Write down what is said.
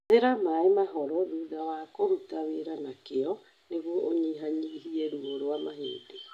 Hũthĩra maĩ mahoro thutha wa kũruta wĩra na kĩyo nĩguo ũnyihanyihie ruo rwa mahĩndĩ.